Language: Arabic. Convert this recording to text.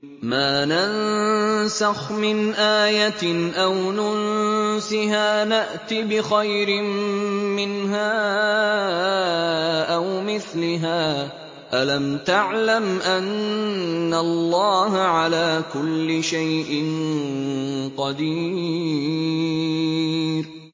۞ مَا نَنسَخْ مِنْ آيَةٍ أَوْ نُنسِهَا نَأْتِ بِخَيْرٍ مِّنْهَا أَوْ مِثْلِهَا ۗ أَلَمْ تَعْلَمْ أَنَّ اللَّهَ عَلَىٰ كُلِّ شَيْءٍ قَدِيرٌ